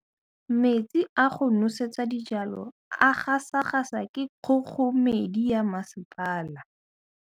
Metsi a go nosetsa dijalo a gasa gasa ke kgogomedi ya masepala.